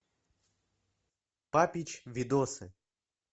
папич видосы